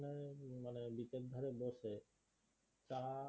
টা